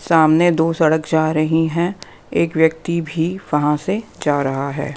सामने दो सड़क जा रही हैं एक व्यक्ति भी वहां से जा रहा है।